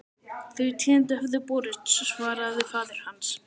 Þau tíðindi höfðu borist, svaraði faðir hans.